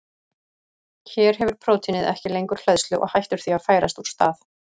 Hér hefur prótínið ekki lengur hleðslu og hættir því að færast úr stað.